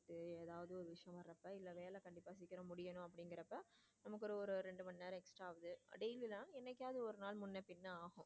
முடிக்கணும் அப்படிங்கிறப்ப நமக்கு ஒரு ரெண்டு மணி நேரம் extra ஆகுது என்னைக்காவது ஒரு நாள் முன்ன பின்ன ஆகும்.